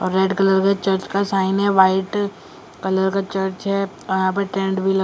red colour के church का sign है वाइट कलर का चर्च है यहां पर ट्रेंड भी लगा --